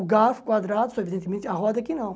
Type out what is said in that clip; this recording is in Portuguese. O garfo quadrado, evidentemente, a roda que não.